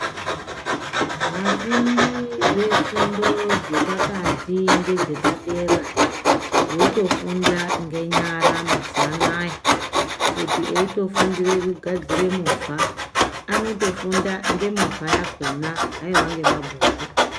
Vafundi vefundo dzepakati nevafundi vefundo dzepadera votofunda ngenyara mazuva anaya kuti eitofundire kugadzira movha anotofunda ngemovha yakona haiwa ngemabhuku .